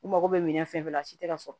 U mago bɛ minɛn fɛn fɛn na a si tɛ ka sɔrɔ